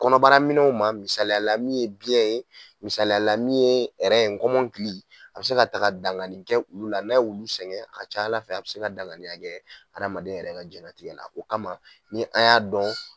Kɔnɔbaraminɛnw ma misaliya la min ye biyɛn ye misaliya la min ye nkɔmɔnkili a bɛ se ka taga dangani kɛ ulu la n'a wulu sɛŋɛ a ca Ala fɛ a bɛ se ka daŋaniya kɛ adama yɛrɛ ka jɛnɛtigɛ la. O kama ni an y'a dɔn